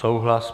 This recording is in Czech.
Souhlas.